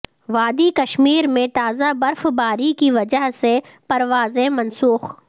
وادی کشمیر میں تازہ برف باری کی وجہ سے پروازیں منسوخ